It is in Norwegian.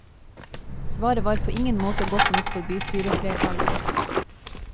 Svaret var på ingen måte godt nok for bystyreflertallet.